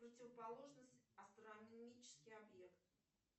противоположность астрономический объект